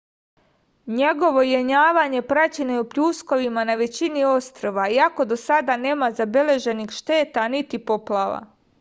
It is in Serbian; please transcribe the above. njegovo jenjavanje praćeno je pljuskovima na većini ostrva iako do sada nema zabeleženih šteta niti poplava